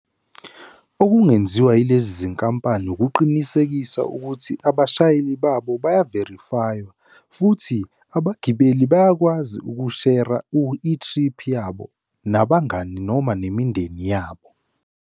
Okungenziwa yilezi zinkampani, ukuqinisekisa ukuthi abashayeli babo bayiverifaywa, futhi abagibeli bayakwazi ukushera ithriphu yabo nabangani noma nemindeni yabo.